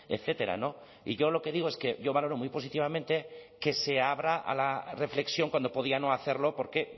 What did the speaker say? etcétera no y yo lo que digo es que yo valoro muy positivamente que se abra a la reflexión cuando podía no hacerlo porque